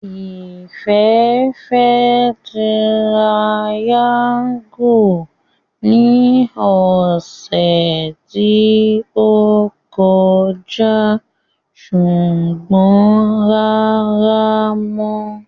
Ìfẹ́ fẹ́ tirayáńgù ní ọ̀sẹ̀ tí ó kọjá ṣùgbọ́n rárá mọ́